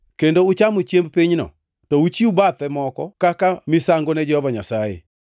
kendo uchamo chiemb pinyno, to uchiw bathe moko kaka misango ne Jehova Nyasaye.